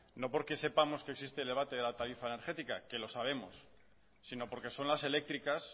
no porque sepamos que existe el debate de la tarifa energética que lo sabemos sino porque son las eléctricas